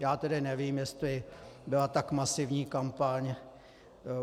Já tedy nevím, jestli byla tak masivní kampaň.